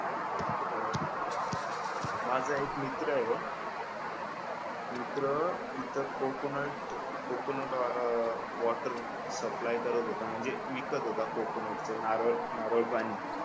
माझा एक मित्रय मित्र इथं कोकोनट कोकोनट वॉटर सप्लाय करत होता म्हणजे विकत होता तो कोकोनट म्हणजे ते नारळ नारळपाणी